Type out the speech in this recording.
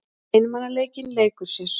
Einmanaleikinn leikur sér.